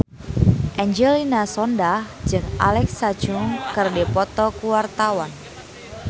Angelina Sondakh jeung Alexa Chung keur dipoto ku wartawan